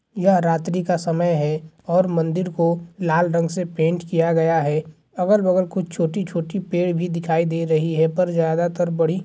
यह रात्रि का समय है और मंदिर को लाल रंग से पेंट किया गया है अगल-बगल कुछ छोटी-छोटी पेड़ भी दिखाई दे रही है पर ज्यादातर बड़ी --